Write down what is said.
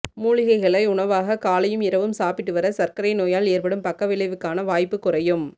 மூலிகைகளை உணவாக காலையும் இரவும் சாப்பிட்டுவர சர்க்கரைநோயால் ஏற்படும் பக்க விளைவுக்கான வாய்ப்பு குறையும்